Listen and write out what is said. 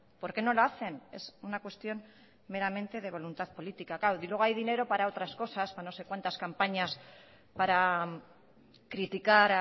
por qué no lo hacen es una cuestión meramente de voluntad política claro y luego hay dinero para otras cosas para no sé cuantas campañas para criticar